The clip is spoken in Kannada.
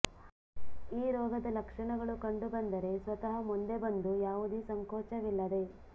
ಈ ರೋಗದ ಲಕ್ಷಣಗಳು ಕಂಡುಬಂದರೆ ಸ್ವತಃ ಮುಂದೆ ಬಂದು ಯಾವುದೇ ಸಂಕೋಚವಿಲ್ಲದೆ